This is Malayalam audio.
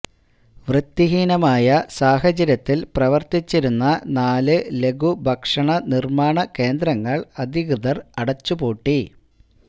വൃത്തിഹീനമായ സാഹചര്യത്തിൽ പ്രവർത്തിച്ചിരുന്ന നാല് ലഘുഭക്ഷണ നിര്മ്മാണ കേന്ദ്രങ്ങള് അധികൃതർ അടച്ചുപൂട്ടി